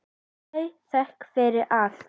Hafðu þökk fyrir allt.